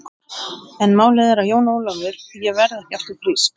En það er málið Jón Ólafur, ég verð ekki aftur frísk.